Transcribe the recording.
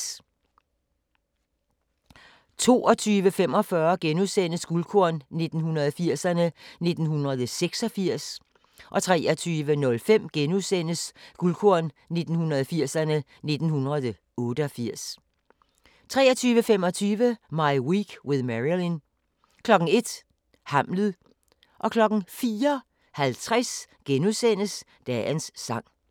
22:45: Guldkorn 1980'erne: 1986 * 23:05: Guldkorn 1980'erne: 1988 * 23:25: My Week with Marilyn 01:00: Hamlet 04:50: Dagens Sang *